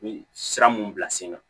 U bɛ sira mun bila sen kan